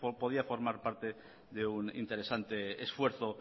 podía formar parte de un interesante esfuerzo